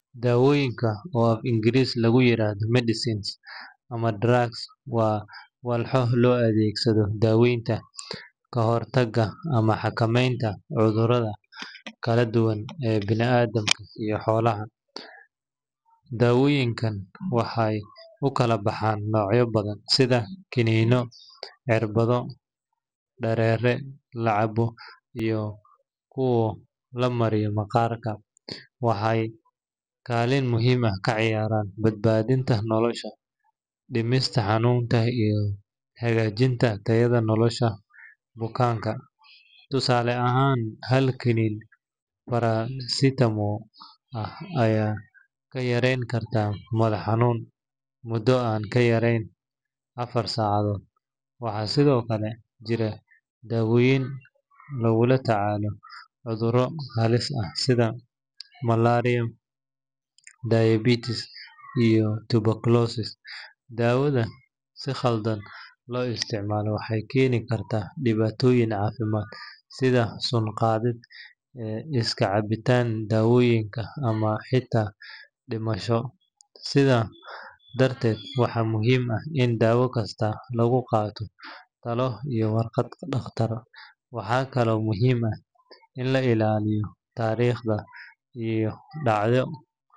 Daadadka ku dhaca beeraha waa musiibo dabiici ah oo saameyn xooggan ku leh nolosha beeraleyda, wax-soo-saarka cuntada, iyo dhaqaalaha guud ee bulshooyinka. Marka roobab xooggan ay da’aan muddo kooban gudaheed, biyaha oo aan helin meel ay maraan ayaa ku fataha beeraha, taasoo sababi karta in dalagyadii la beertay ay baaba’aan ama ay dhintaan gabi ahaan. Waxaa intaas dheer, biyaha daadadka ayaa keeni kara in ciidda laga daayo nafaqadii, taasoo ka dhigaysa dhul-beereedka mid aan wax-soo-saar lahayn muddo dheer. Tusaale ahaan, hal daad xooggan ayaa burburin kara in ka badan konton hektar oo dalag ah haddii aan la helin difaacyo ama qorshe horay loo dejiyay. Beeraleydu waxay wajahaan dhibaatooyin sida khasaarooyin dhaqaale, yaraanta cunno iyo caqabadaha ku saabsan dib u bilaabashada beeraleyda kadib daadad. Waxaa muhiim ah in la sameeyo wacyigelin iyo qorsheyaal.